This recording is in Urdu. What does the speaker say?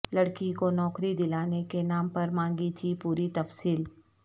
لڑکی کونوکری دلانے کے نام پر مانگی تھی پوری تفصیل